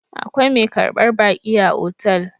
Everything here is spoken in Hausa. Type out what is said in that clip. Akwai mai karbar baƙi a otal